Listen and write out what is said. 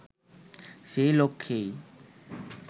সে লক্ষ্যেই